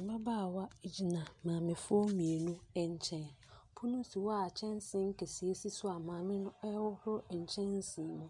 Mmabaawa egyina maame foɔ mmienu nkyɛn. Pono si hɔ a nkyɛnsee kɛse si so a maame no ɛhoroho nkyɛnsee no mu.